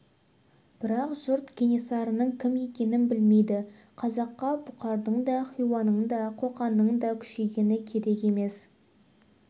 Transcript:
бірақ жұрт кенесарының кім екенін білмейді қазаққа бұқардың да хиуаның да қоқанның да күшейгені керек емес